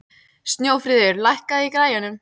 Snjófríður, lækkaðu í græjunum.